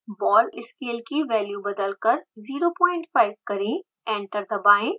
ball scale की value बदलकर 05 करें एंटर दबाएँ